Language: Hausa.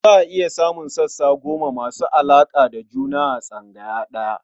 Za a iya samun sassa goma masu alaƙa da juna a tsangaya ɗaya.